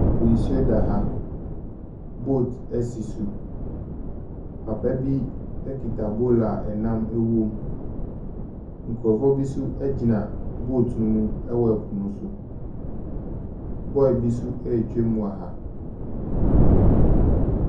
Po nsuo da ha. Boat si so. Papa bi kita bowl a nnam wom. Nkurɔfoɔ bi nso gyina boat no mu wɔ po no so. Boy bi nso retwam wɔ ha.